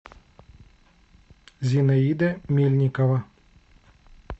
зинаида мельникова